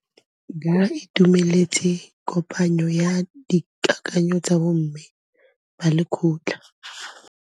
Ba itumeletse kôpanyo ya dikakanyô tsa bo mme ba lekgotla.